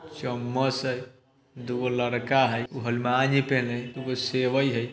चम्मच है। दूगो लड़का है। वो ही पहने है। दूगो सेवई है।